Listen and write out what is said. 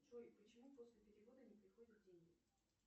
джой почему после перевода не приходят деньги